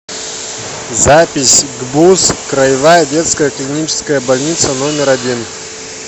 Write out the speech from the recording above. запись гбуз краевая детская клиническая больница номер один